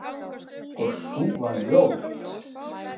Og sú var ljót!